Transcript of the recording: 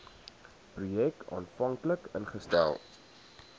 projek aanvanklik ingestel